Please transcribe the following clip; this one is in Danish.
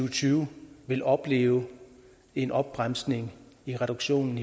og tyve vil opleve en opbremsning i reduktionen